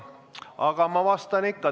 Aga ma vastan ikka.